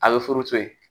A bɛ furu to yen